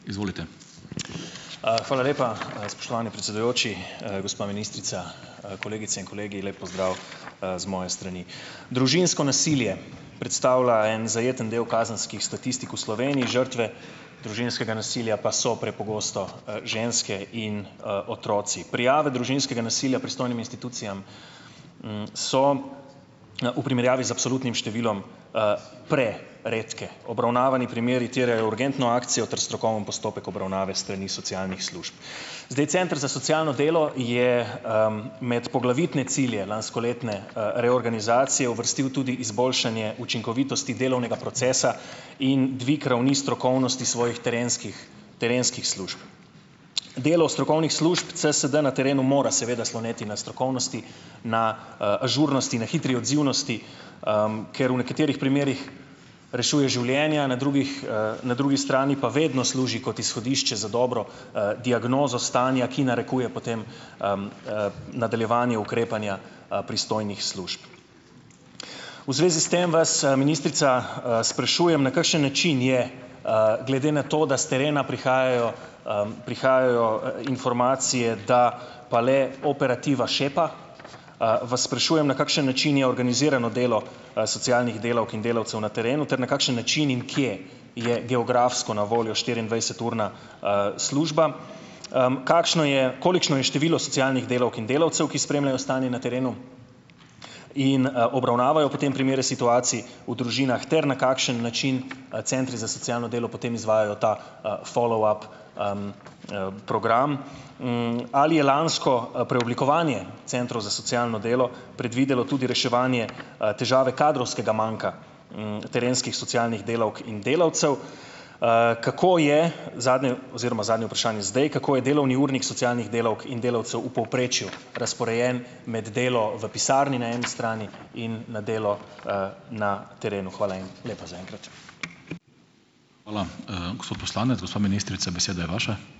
hvala lepa, spoštovani predsedujoči. Gospa ministrica, kolegice in kolegi, lep pozdrav, z moje strani! Družinsko nasilje predstavlja en zajeten del kazenskih statistik v Sloveniji, žrtve družinskega nasilja pa so prepogosto, ženske, in otroci. Prijave družinskega nasilja pristojnim institucijam, so, v primerjavi z absolutnim številom, preredke. Obravnavani primeri terjajo urgentno akcijo ter strokoven postopek obravnave s strani socialnih služb. Zdaj, center za socialno delo je, med poglavitne cilje lanskoletne, reorganizacije uvrstil tudi izboljšanje učinkovitosti delovnega procesa in dvig ravni strokovnosti svojih terenskih terenskih služb. Delo strokovnih služb CSD na terenu mora seveda sloneti na strokovnosti, na, ažurnosti, na hitri odzivnosti, ker v nekaterih primerih rešuje življenja, na drugih, na drugi strani pa vedno služi kot izhodišče za dobro, diagnozo stanja, ki narekuje potem, nadaljevanje ukrepanja, pristojnih služb. V zvezi s tem vas, ministrica, sprašujem: na kakšen način je, glede na to, da s terena prihajajo, prihajajo, informacije, da pa le operativa šepa, vas sprašujem, na kakšen način je organizirano delo, socialnih delavk in delavcev na terenu ter na kakšen način in kje je geografsko na voljo štiriindvajseturna, služba? kakšno je? Kolikšno je število socialnih delavk in delavcev, ki spremljajo stanje na terenu in, obravnavajo potem primere situacij v družinah ter na kakšen način, centri za socialno delo potem izvajajo ta, "followup", program? Ali je lansko, preoblikovanje centrov za socialno delo predvidelo tudi reševanje, težave kadrovskega manka, terenskih socialnih delavk in delavcev? Kako je, zadnje oziroma zadnje vprašanje zdaj, kako je delovni urnik socialnih delavk in delavcev v povprečju razporejen - med delo v pisarni na eni strani in na delo, na terenu? Hvala lepa zaenkrat.